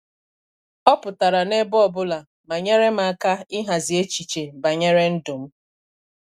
Ọ pụtara n'ebe ọ bụla ma nyere m aka ịhazi echiche banyere ndụm.